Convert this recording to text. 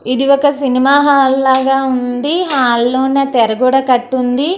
ఇది ఒక సినిమా హాళ్ల లాగా ఉంది. హాల్ లోన తేరా కూడా కట్టి ఉంది.